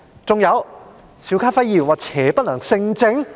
還有，邵家輝議員說邪不能勝正？